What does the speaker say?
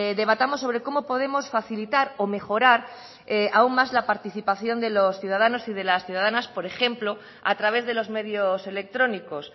debatamos sobre cómo podemos facilitar o mejorar aún más la participación de los ciudadanos y de las ciudadanas por ejemplo a través de los medios electrónicos